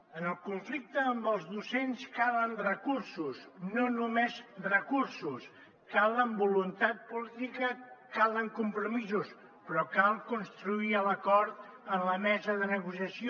en el conflicte amb els docents calen recursos no només recursos cal voluntat política calen compromisos però cal construir l’acord en la mesa de negociació